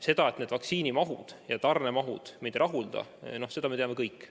Seda, et praegused vaktsiinitarne mahud meid ei rahulda, me teame kõik.